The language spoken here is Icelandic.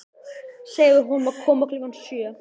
Segðu honum að koma klukkan sjö.